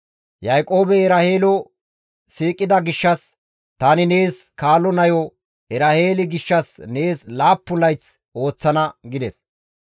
Yaaqoobey Eraheelo siiqida gishshas, «Tani nees kaalo nayo Eraheeli gishshas nees laappun layth ooththana» gides.